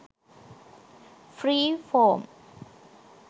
free form